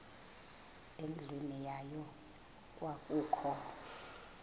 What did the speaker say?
endlwini yayo kwakukho